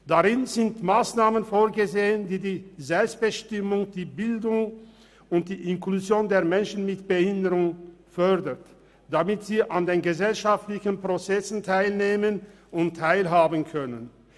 In diesem sind Massnahmen vorgesehen, die die Selbstbestimmung, die Bildung und die Inklusion der Menschen mit Behinderung fördern, damit sie an den gesellschaftlichen Prozessen teilnehmen und Teil haben können.